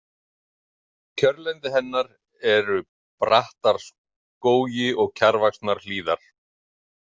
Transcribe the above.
Kjörlendi hennar eru brattar skógi- og kjarrvaxnar hlíðar.